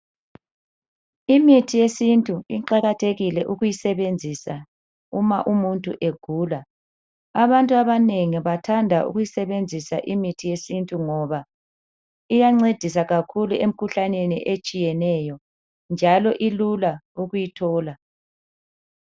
Imithi yesintu iqakathekile ukuyisebenzisa uma umuntu egula .Abantu abanengi bathanda ukuyisebenzisa imithi yesintu ngoba iyancedisa kakhulu emikhuhlaneni etshiyeneyo njalo ilula ukuyithola.